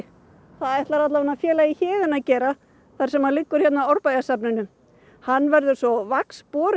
það ætlar félagi Héðinn að gera þar sem hann liggur hérna á Árbæjarsafninu hann verður svo